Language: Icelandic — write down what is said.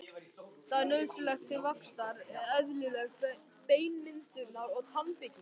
Það er nauðsynlegt til vaxtar, eðlilegrar beinmyndunar og tannbyggingar.